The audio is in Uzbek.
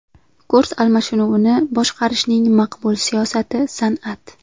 Kurs almashinuvini boshqarishning maqbul siyosati san’at.